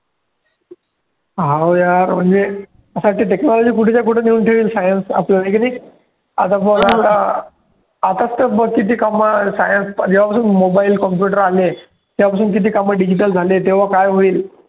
हाव यार म्हणजे असं वाटतं technology कुठेच्या कुठे नेऊन ठेवेल science आपलं हे की नाही आता आताच तर बघ किती कामं science जेव्हा पासून mobile computer आलेत तेव्हापासून किती कामं digital झालेत तेव्हा काय होईल.